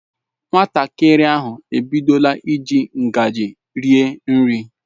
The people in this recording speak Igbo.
Nwatakịrị ahu ebidola iji ngaji rie nri.